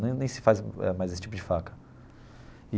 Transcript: Nem nem se faz eh mais esse tipo de faca.